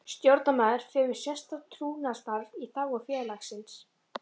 Stjórnarmaður fer með sérstakt trúnaðarstarf í þágu félagsins.